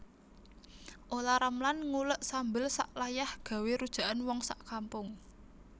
Olla Ramlan ngulek sambel sak layah gawe rujakan wong sak kampung